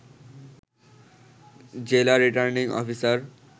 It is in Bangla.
জেলা রিটার্নিং অফিসার